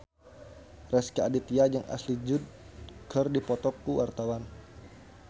Rezky Aditya jeung Ashley Judd keur dipoto ku wartawan